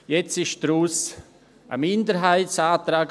Jetzt wurde daraus ein Minderheitsantrag.